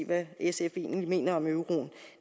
hvad sf egentlig mener om euroen